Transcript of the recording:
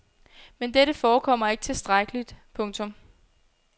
Men dette forekommer ikke tilstrækkeligt. punktum